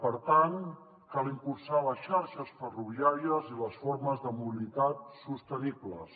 per tant cal impulsar les xarxes ferroviàries i les formes de mobilitat sostenibles